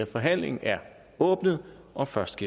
forhandlingen er åbnet og først